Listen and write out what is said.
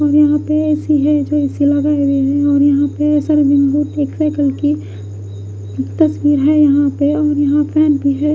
और यहाँ पे एसी है जो एसी लगाये हुए है और यहाँ पर तस्वीर है यहाँ पे और यहाँ फेन भी है।